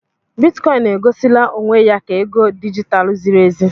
Bitikọin e gosila onwe ya ka ego dijitalụ ziri ezi.